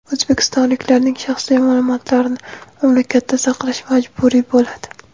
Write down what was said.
O‘zbekistonliklarning shaxsiy ma’lumotlarini mamlakatda saqlash majburiy bo‘ladi.